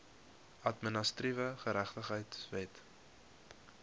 administratiewe geregtigheid wet